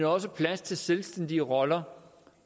også er plads til selvstændige roller